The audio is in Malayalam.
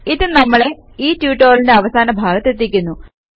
ഇത് നമ്മളെ ഈ ട്യൂട്ടോറിയലിന്റെ അവസാന ഭാഗത്തെത്തിക്കുന്നു